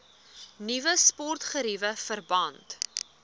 nuwe sportgeriewe verband